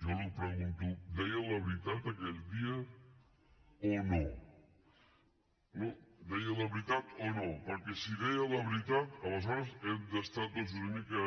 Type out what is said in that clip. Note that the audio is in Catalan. jo li pregunto deia la veritat aquell dia o no no deia la veritat o no perquè si deia la veritat aleshores hem d’estar tots una mica